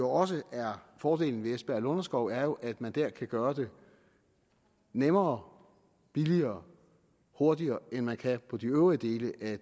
også er fordelen ved esbjerg lunderskov er jo at man her kan gøre det nemmere billigere og hurtigere end man kan på de øvrige dele af